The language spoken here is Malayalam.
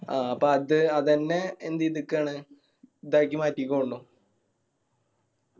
ആ അപ്പൊ അത് അതെന്നെ എന്ത് എയ്തിക്കാണ് ഇതാക്കി മാറ്റിക്ക് തോന്നണു